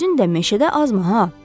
Özün də meşədə azma ha.